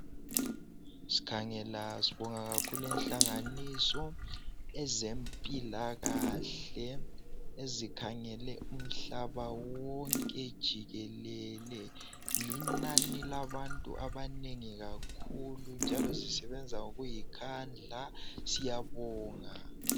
Sikhangela, sibonga kakhulu inhlanganiso ezempilakahle, ezikhangele umhlaba wonke jikelele. Linani labantu abanengi kakhulu, njalo lisebenza ngokuzikhandla. Siyabonga.